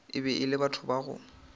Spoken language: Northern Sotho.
e le batho ba go